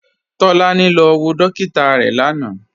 Tolani lọ wọ dòkìtà rẹ lánà.